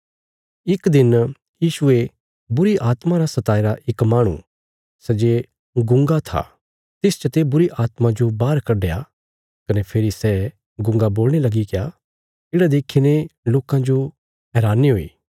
इक दिन यीशुये बुरीआत्मा रा सताईरा इक माहणु सै जे गुंगा था तिस चते बुरीआत्मा जो बाहर कड्डया कने फेरी सै गूँगा बोलणे लगीग्या येढ़ा देखीने लोकां जो हैरानी हुई